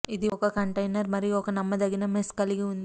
ఇది ఒక కంటైనర్ మరియు ఒక నమ్మదగిన మెష్ కలిగి ఉంది